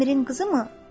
Əmirin qızı mı?